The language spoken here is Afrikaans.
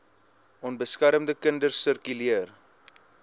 onbeskermde kinders sirkuleer